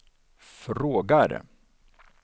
frågar